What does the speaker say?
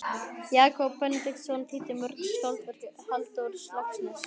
Jakob Benediktsson þýddi mörg skáldverk Halldórs Laxness.